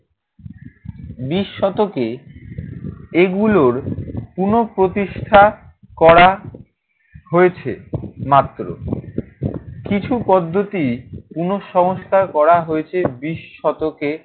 বিশ শতকে এগুলোর পুনঃপ্রতিষ্ঠা করা হয়েছে মাত্র। কিছু পদ্ধতি পুনঃসংস্কার করা হয়েছে বিশ শতকে।